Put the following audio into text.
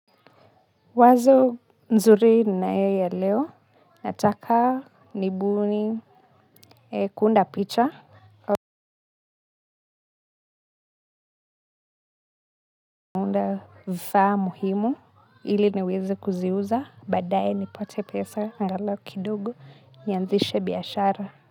Wazo nzuri ninayoelewa, nataka nibuni kuunda picha. Kuunda vifaa muhimu, ili niwezi kuziuza, baadaye nipate pesa, angalau kidogo, nianzishe biashara.